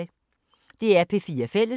DR P4 Fælles